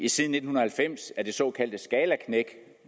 siden nitten halvfems er det såkaldte skalaknæk